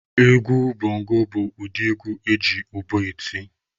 Egwu bongo bụ ụdị egwu eji ụbọ eti.